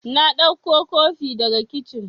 Na ɗauko kofi daga kicin